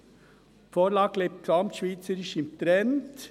Die Vorlage liegt gesamtschweizerisch im Trend: